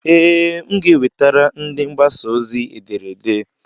Ee, m ga-ewetara ndị mgbasa ozi ederede.